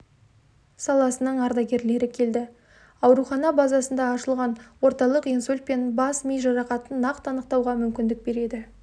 саласының ардагерлері келді аурухана базасында ашылған орталық инсульт пен бас-ми жарақатын нақты анықтауға мүмкіндік береді